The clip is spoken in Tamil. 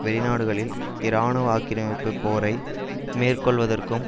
வெளி நாடுகளில் இராணுவ ஆக்கிரமிப்பு போரை மேற்கொள்ளுவதற்கும்